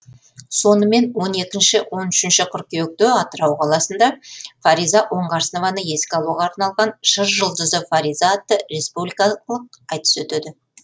сонымен он екінші он үшінші қыркүйекте атырау қаласында фариза оңғарсынованы еске алуға арналған жыр жұлдызы фариза атты республикалылық айтыс өтеді